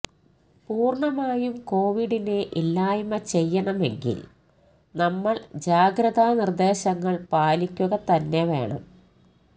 പൂര്ണ്ണമായും കോവിഡിനെ ഇല്ലായ്മ ചെയ്യണമെങ്കില് നമ്മള് ജാഗ്രതാ നിര്ദ്ദേശങ്ങള് പാലിക്കുകതന്നെ വേണം